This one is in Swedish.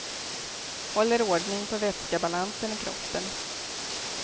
Håller ordning på vätskebalansen i kroppen.